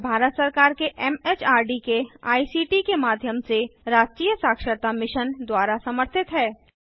यह भारत सरकार के एमएचआरडी के आईसीटी के माध्यम से राष्ट्रीय साक्षरता मिशन द्वारा समर्थित है